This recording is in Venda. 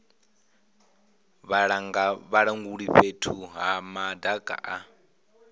vhalanguli fhethu ha madaka a